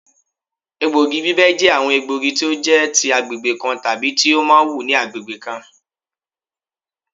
Egbògi ibibẹ̀ jẹ́ àwọn egbògi tó jẹ́ ti agbègbè kan tàbí tí ó máa wù ní agbègbè kan